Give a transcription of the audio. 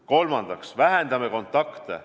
Kolmandaks, vähendame kontakte.